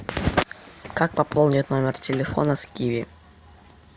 как пополнить номер телефона с киви